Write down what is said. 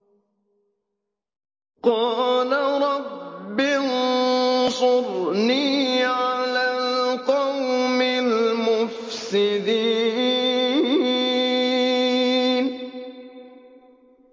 قَالَ رَبِّ انصُرْنِي عَلَى الْقَوْمِ الْمُفْسِدِينَ